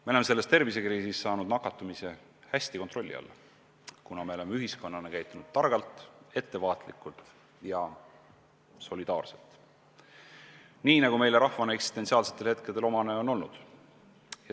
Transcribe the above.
Me oleme selles tervisekriisis saanud nakatumise hästi kontrolli alla, kuna me oleme ühiskonnana käitunud targalt, ettevaatlikult ja solidaarselt – nii, nagu meie rahvale eksistentsiaalsetel hetkedel omane on olnud.